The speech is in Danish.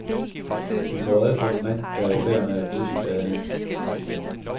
De får øje på en mand, der er i færd med at krydse gaden.